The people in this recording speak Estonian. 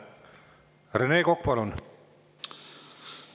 Rene Kokk, palun!